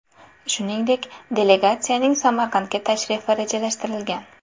Shuningdek, delegatsiyaning Samarqandga tashrifi rejalashtirilgan.